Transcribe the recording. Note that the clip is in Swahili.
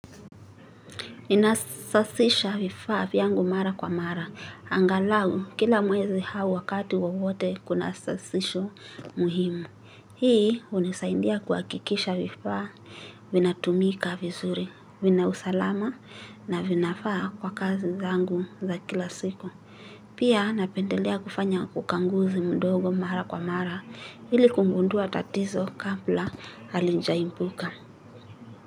Ninasasisha vifaa vyangu mara kwa mara. Angalau, kila mwezi hau wakati wowote kuna sasisho muhimu. Hii, hunisaindia kwa akikisha vifaa vina tumika vizuri. Vina usalama na vinafaa kwa kazi zangu za kila siku. Pia, napendelea kufanya kukanguzi mdogo, mara kwa mara ili kugundua tatizo kabla, halija imbuka.